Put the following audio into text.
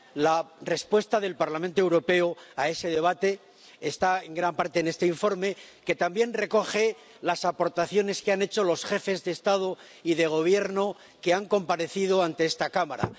La respuesta del Parlamento Europeo a ese debate está en gran parte en este informe, que también recoge las aportaciones que han hecho los jefes de Estado y de Gobierno que han comparecido ante esta Cámara.